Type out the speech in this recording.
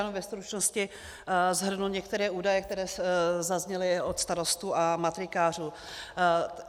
Jenom ve stručnosti shrnu některé údaje, které zazněly od starostů a matrikářů.